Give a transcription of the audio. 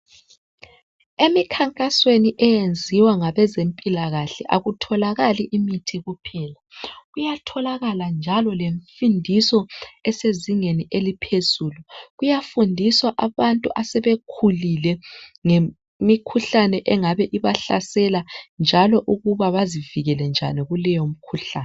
Emikhankasweni eyenziwa ngabezempilakahle akutholakali imithi kuphela, kuyatholakala njalo lemfundiso esezingeni eliphezulu. Kuyafundiswa abantu asebekhulile ngemikhuhlane engabe ibahlasela njalo ukuba bazivikele njani kuleyo mikhuhlane.